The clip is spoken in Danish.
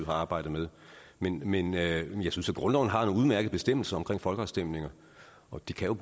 har arbejdet med men men jeg synes at grundloven har nogle udmærkede bestemmelser omkring folkeafstemninger og de kan